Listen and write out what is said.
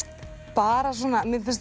bara svona mér finnst